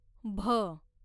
भ